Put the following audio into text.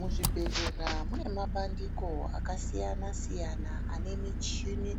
Muzvibhedhlera mune mabandiko akasiyana-siyana ane michini